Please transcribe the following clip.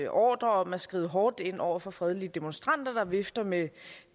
ordre om at skride hårdt ind over for fredelige demonstranter der vifter med